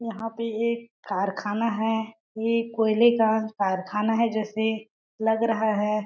यहाँ पे एक कारखाना है। ये कोयले का कारखाना है जैसे लग रहा है।